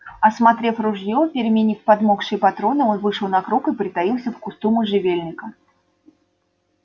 осмотрев ружьё переменив подмокшие патроны он вышел на круг и притаился в кусту можжевельника